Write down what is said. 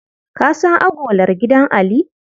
Ka san agolar gidan Ali?